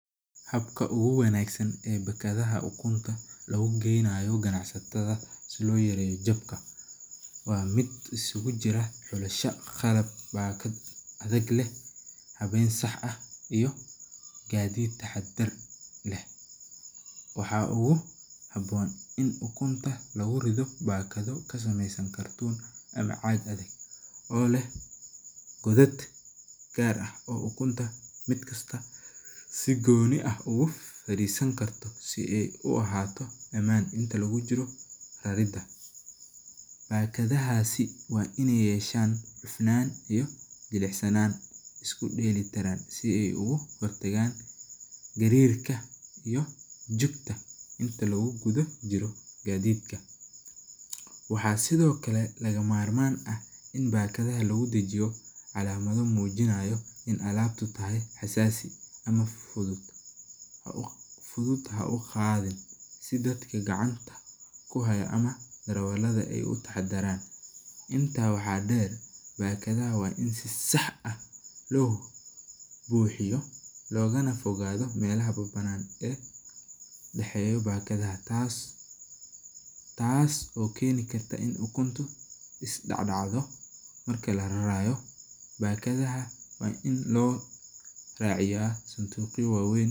Habka ugu wanagsan ee bakadaha ukunta, waa mid iskugu jiraa habeen dab ah, iyo taxadar leh, waxaa ugu haboon, sida caag adag, si aay uhaato amaan, bakadahaas, iyo jilicsannaan, si jugta, waxaa sido kale lagama marmaan ah calamada mujinaaya sida dadka gacanta kuhaaya, bakadahaas waa in si sax ah loo buxiyo, taas oo keeni karto in ukunta soo dacdacdo.